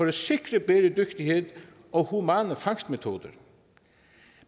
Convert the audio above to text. at sikre bæredygtighed og humane fangstmetoder